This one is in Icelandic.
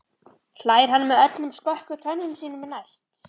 hlær hann með öllum skökku tönnunum sínum, næst